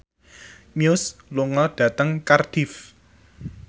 Muse lunga dhateng Cardiff